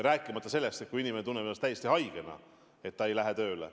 Rääkimata sellest, et kui inimene tunneb ennast täiesti haigena – ta ei lähe tööle.